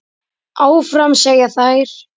Áfram, segja þær.